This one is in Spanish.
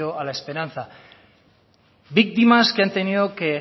a la esperanza víctimas que han tenido que